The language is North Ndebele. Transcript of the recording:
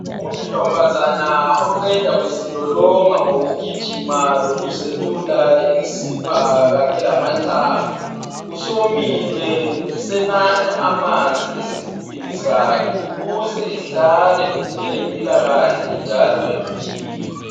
Untombazana oqeda kuzilolonga ngokugijima lokuzelula imisipha kanye lamathambo usemile usenatha amanzi esigubhini sakhe ukuze ehlale elempilakahle njalo eqinile.